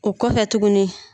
O kɔfɛ tuguni